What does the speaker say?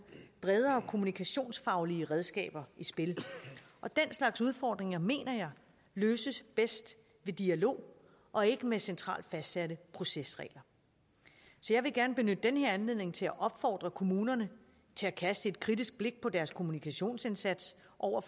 bredere kommunikationsfaglige redskaber i spil og den slags udfordringer mener jeg løses bedst ved dialog og ikke med centralt fastsatte procesregler så jeg vil gerne benytte den her anledning til at opfordre kommunerne til at kaste et kritisk blik på deres kommunikationsindsats over for